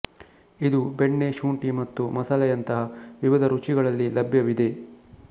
ಇದು ಬೆಣ್ಣೆ ಶುಂಠಿ ಮತ್ತು ಮಸಾಲೆಯಂತಹ ವಿವಿಧ ರುಚಿಗಳಲ್ಲಿ ಲಭ್ಯವಿದೆ